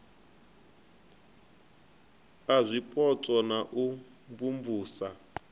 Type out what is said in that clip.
a zwipotso na u imvumvusa